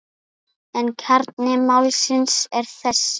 En kjarni málsins er þessi.